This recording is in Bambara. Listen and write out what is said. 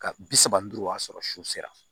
Ka bi saba ni duuru o y'a sɔrɔ su sera